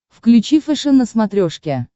включи фэшен на смотрешке